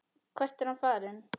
Hvert er hann farinn?